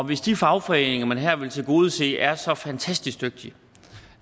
hvis de fagforeninger man her vil tilgodese er så fantastisk dygtige